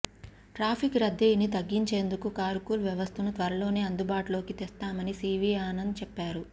traffic రద్దీని తగ్గించేందుకు carpool వ్యవస్థను త్వరలోనే అందుబాటులోకి తెస్తామని సివి ఆనంద్ చెప్పారు